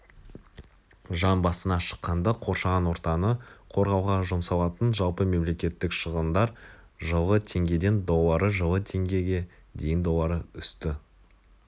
жан басына шаққанда қоршаған отаны қорғауға жұмсалатын жалпы мемлекеттік шығындар жылғы теңгеден доллары жылы теңгеге дейін доллары өсті